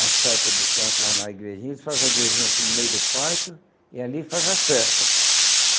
a estátua do santo lá na igrejinha, eles fazem a igrejinha assim no meio do pátio e ali faz as festas.